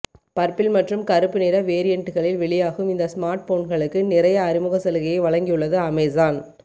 purple மற்றும் கறுப்பு நிற வேரியண்ட்டுகளில் வெளியாகும் இந்த ஸ்மார்ட்போன்களுக்கு நிறைய அறிமுக சலுகையை வழங்கியுள்ளது அமேசான்